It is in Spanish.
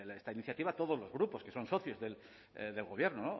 esta iniciativa todos los grupos que son socios del gobierno